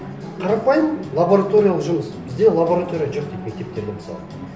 қарапайым лабораториялық жұмыс бізде лаборатория жоқ дейді мектептерде мысалы